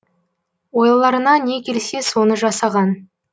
ойларына не келсе соны жасаған